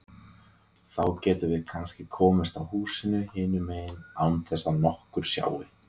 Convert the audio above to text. Þá getum við kannski komist að húsinu hinum megin án þess að nokkur sjái.